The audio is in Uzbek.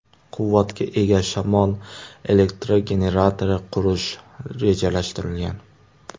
quvvatga ega shamol elektrogeneratori qurish rejalashtirilgan.